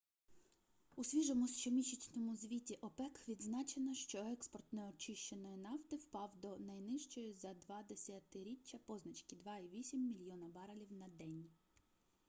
у свіжому щомісячному звіті опек відзначено що експорт неочищеної нафти впав до найнижчої за два десятиріччя позначки - 2,8 мільйона барелів на день